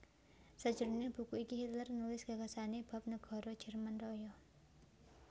Sajroning buku iki Hitler nulis gagasané bab negara Jerman Raya